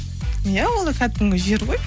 иә ол кәдімгі жер ғой